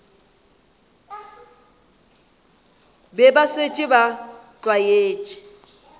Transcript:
be ba šetše ba tlwaetše